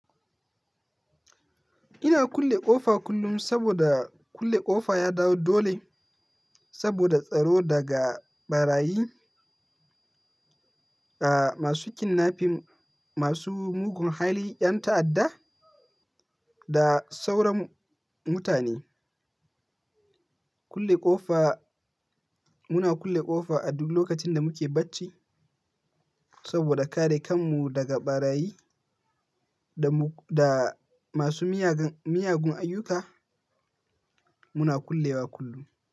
Ina kulle ƙofa kullum saboda kulle ƙofa ya dawo dole saboda tsaro daga ɓarayi, a masu kinnafim, masu mugun hali, ƴan ta'adda da sauran mutane. Kulle ƙofa, muna kulle ƙofa a duk lokacin da muke bacci saboda kare kan mu daga ɓarayi da masu miyagun ayyuka. Muna kullewa kullum.